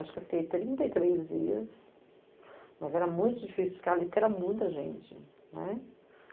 Acho que eu fiquei trinta e três dias, mas era muito difícil ficar ali porque era muita gente, né.